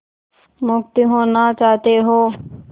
मुक्त होना चाहते हो